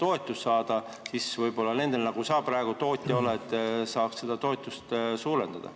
Siis saaks võib-olla nende tootjate – sinagi oled ju praegu seda – toetusi suurendada.